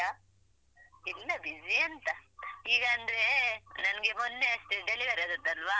ಇಲ್ಲ busy ಎಂತ ಈಗಂದ್ರೆ ನಂಗೆ ಮೊನ್ನೆ ಅಷ್ಟೇ delivery ಆದದ್ದಲ್ವಾ.